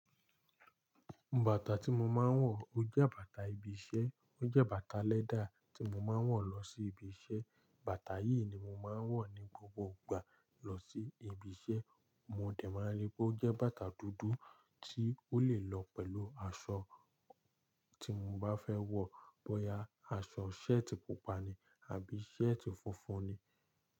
Bàtà tí mo máa ń wọ̀, ó jẹ́ bàtà ibi iṣẹ́, ó jẹ́ bàtà lẹ́dà tí mo máa ń wọ̀ lọ sí ibi iṣẹ́. Bàtà yìí ni mo máa ń wọ̀ ní gbogbo ìgbà lọ sí ibi iṣẹ́. Mo dẹ̀ máa rí pé ó jẹ́ bàtà dúdú tí ó lè lọ pẹ̀lú aṣọ tí mo bá fẹ́ wọ̀, bóyá aṣọ ṣẹ́ẹ̀tì pupa ni àbí ṣẹ́ẹ̀tì funfun ni.